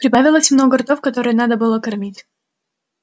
прибавилось много ртов которые надо было кормить